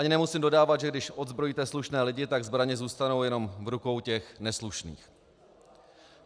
Ani nemusím dodávat, že když odzbrojíte slušné lidi, tak zbraně zůstanou jenom v rukou těch neslušných.